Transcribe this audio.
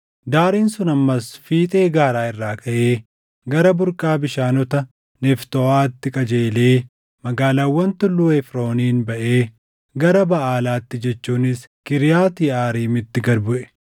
Daariin sun ammas fiixee gaaraa irraa kaʼee gara burqaa bishaanota Neftooʼaatti qajeelee magaalaawwan Tulluu Efrooniin baʼee gara Baʼaalaatti jechuunis Kiriyaati Yeʼaariimitti gad buʼe.